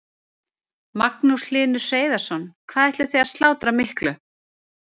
Magnús Hlynur Hreiðarsson: Hvað ætlið þið að slátra miklu?